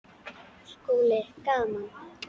SKÚLI: Gaman!